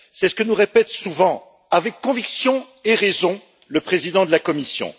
C'est ce que nous répète souvent avec conviction et raison le président de la Commission.